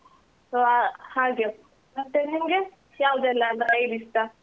So ಹಾಗೆ, ಮತ್ತೆ ನಿಮ್ಗೆ ಯಾವ್ದೆಲ್ಲ drive ಇಷ್ಟ?